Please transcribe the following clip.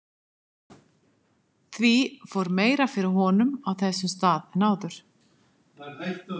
Því fór meira fyrir honum á þessum stað en áður.